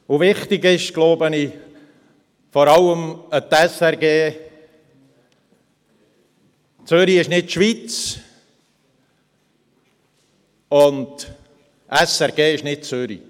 Wichtig ist es vor allem, der SRG zu sagen: «Zürich ist nicht die Schweiz, und die SRG ist nicht Zürich.